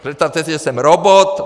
Představte si, že jsem robot.